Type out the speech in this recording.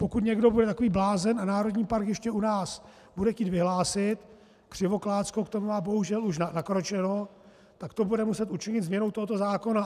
Pokud někdo bude takový blázen a národní park ještě u nás bude chtít vyhlásit - Křivoklátsko k tomu má bohužel už nakročeno - tak to bude muset učinit změnou tohoto zákona.